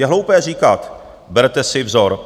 Je hloupé říkat: Berte si vzor.